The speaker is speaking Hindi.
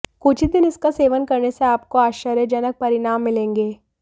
कुछ ही दिन इसका सेवन करने से आपको आश्चर्यजनक परिणाम मिलेंगे